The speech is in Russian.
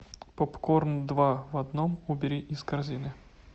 попкорн два в одном убери из корзины